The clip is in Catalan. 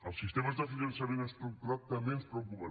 els sistemes de finançament estructurat també ens preocupen